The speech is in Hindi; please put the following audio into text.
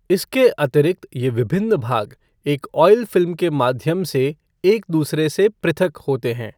इसके अतिरिक्त ये विभिन्न भाग एक आयॅल फ़िल्म के माध्यम से एक दूसरे से पृथक होते हैं।